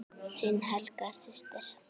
Þín Helga systir.